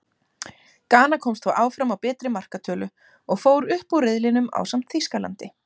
Gana komst þó áfram á betri markatölu, og fór upp úr riðlinum ásamt Þýskalandi.